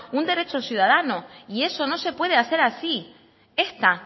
un derecho ciudadano y eso no se puede hacer así esta